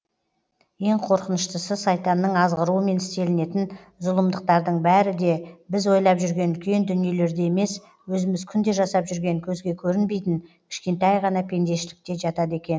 ең қорқыныштысы сайтанның азғыруымен істелінетін зұлымдықтардың бәрі де біз ойлап жүрген үлкен дүниелерде емес өзіміз күнде жасап жүрген көзге көрінбейтін кішкентай ғана пендешілікте жатады екен